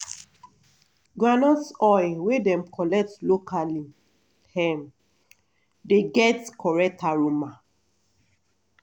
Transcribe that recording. groundnut oil wey dem collect locally um dey get correct aroma